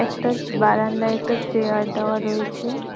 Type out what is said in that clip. তার বারান্দায় একটা চেয়ার দেওয়া রয়েছে।